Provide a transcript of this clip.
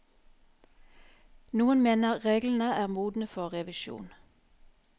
Noen mener reglene er modne for revisjon.